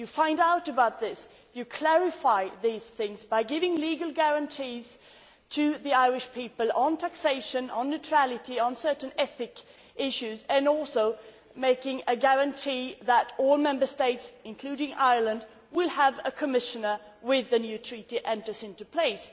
You find out the reasons. You clarify these things by giving legal guarantees to the Irish people on taxation, on neutrality, on certain ethical issues and also making a guarantee that all Member States, including Ireland, will have a commissioner when the new Treaty comes into force.